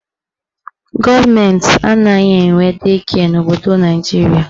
Gọọmenti anaghị enwe dei kịe n'obodo Naijiria.